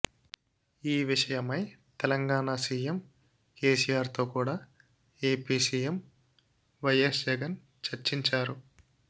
ఈ విషయమై తెలంగాణ సీఎం కేసీఆర్తో కూడ ఏపీ సీఎం వైఎస్ జగన్ చర్చించారు